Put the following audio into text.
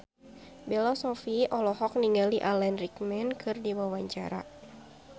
Bella Shofie olohok ningali Alan Rickman keur diwawancara